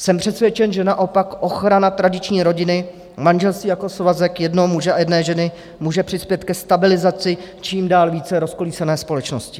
Jsem přesvědčen, že naopak ochrana tradiční rodiny, manželství jako svazek jednoho muže a jedné ženy, může přispět ke stabilizaci čím dál více rozkolísané společnosti.